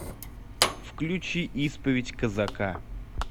включи исповедь казака